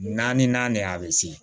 Naani naani de a bɛ se